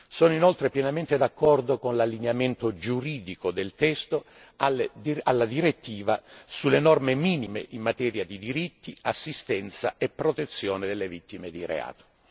Sono inoltre pienamente d'accordo con l'allineamento giuridico del testo alla direttiva sulle norme minime in materia di diritti di assistenza e protezione delle vittime di reato.